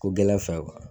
Ko gɛlɛn fɛ